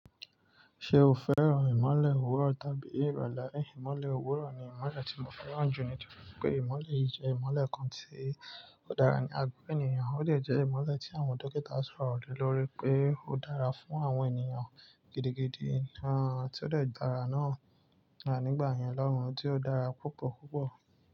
Ṣe o fẹ́ràn ìmọ́lẹ̀ òwúrọ̀ tàbí ìrọ̀lẹ́? Ìmọ́lẹ̀ òwúrọ̀ ni ìmọ́lẹ̀ tí mo fẹ́ràn jù nítorí pé ìmọ́lẹ̀ yìí jẹ́ ìmọ́lẹ̀ kan tí ó dára ní agbó ènìyàn, ó dè jẹ́ ìmọ́lẹ̀ tí àwọn dókítà sọ̀rọ̀ le lóri pé ó dára fún àwọn ènìyàn gidigidi, tí ó dè dára náà, nígbà yẹn lọ́hùn tí ó dára púpọ̀púpọ̀.